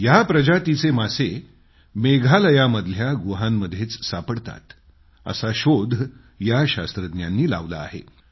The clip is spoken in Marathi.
या प्रजातीचे मासे मेघालयामधल्या गुहांमध्येच सापडतात असा शोध या शास्त्रज्ञांनी लावला आहे